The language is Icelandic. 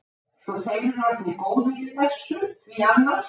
Svo þeir eru orðnir góðir í þessu því annars.